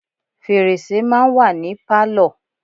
Fèrèsé máa ń wà ní Pálọ̀.